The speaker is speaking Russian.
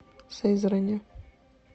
сызрани